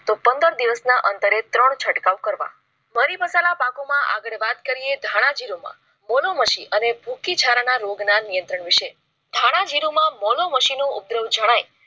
તો પંદર દિવસના અંતરે ત્રણ છટકાવ કરવા. મારી મસાલા પાકોમાં આગળ વાત કરીયે ધન જીરુંમાં મૂળો માસી અને ભુખી જરા ના રોગ ના નિયંત્રણ વિષય ધાણા જીરું માં મોલો મશીનો ઉપદ્રવ જણાય